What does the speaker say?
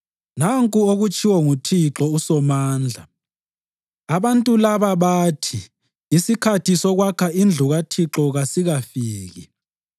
Nanku okutshiwo nguThixo uSomandla: “Abantu laba bathi, ‘Isikhathi sokwakha indlu kaThixo kasikafiki.’ ”